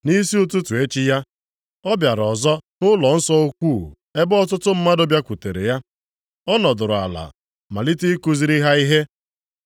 Nʼisi ụtụtụ echi ya, ọ bịara ọzọ nʼụlọnsọ ukwuu ebe ọtụtụ mmadụ bịakwutere ya. Ọ nọdụrụ ala malite ikuziri ha ihe.